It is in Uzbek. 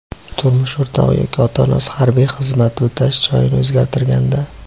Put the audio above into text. turmush o‘rtog‘i yoki ota-onasi harbiy xizmat o‘tash joyini o‘zgartirganda;.